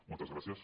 moltes gràcies